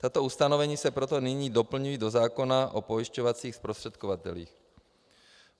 Tato ustanovení se proto nyní doplňují do zákona o pojišťovacích zprostředkovatelích.